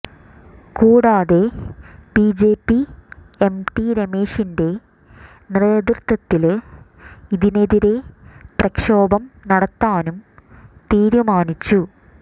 കൂടാതെ BJP MT രമേഷിന്റെ നേതൃത്വത്തില് ഇതിനെതിരെ പ്രക്ഷോഭം നടത്താനും തീരുമാനിച്ചു